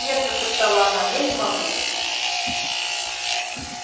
нет прошептала она я не могу